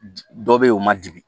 Dɔ be ye o ma dimi